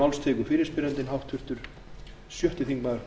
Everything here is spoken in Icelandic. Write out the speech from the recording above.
herra forseti ég leyfi mér að